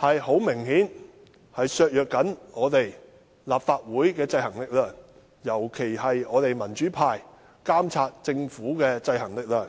顯然會削弱立法會的制衡力量，尤其是我們民主派議員監察政府的制衡力量。